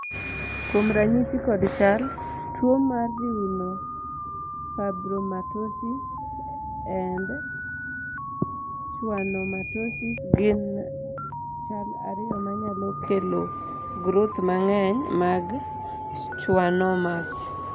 kuom ranyisi kod chal, tuo mar neurofibromatosis and schwannomatosis gin chal ariyo manyalo kelo groth mang'eny mag schwannomas